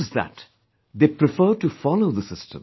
Not just that, they prefer to follow the system